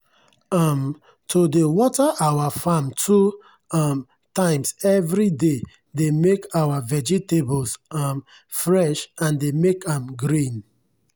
um to dey water our farm two um times everyday dey make our vegetables um fresh and dey make am green.